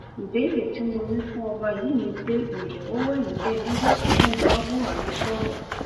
ìbéèrè tí mo ní fún ọba yìí ni pé ǹjẹ ó wà níbẹ nígbà tí mò ń bá buhari sọrọ